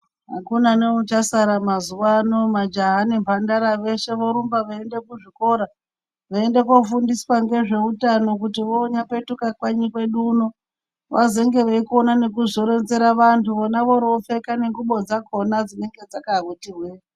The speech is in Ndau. Akuna neuchasara mazuwano. Majaha nemhandara veshe vorumba veiende kuzvikora, veiende kofundiswa ngezveutano kuti vonyapetuka kanyi kwedu uno, vazenge veikona nekuzoronzera vantu vona voropfeka nengubo dzakona dzinenge dzakati hwee.